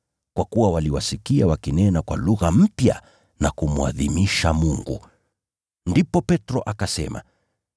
Kwa kuwa waliwasikia wakinena kwa lugha mpya na kumwadhimisha Mungu. Ndipo Petro akasema,